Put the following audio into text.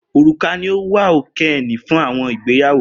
Oruka ni o wa okeene fun awọn igbeyawo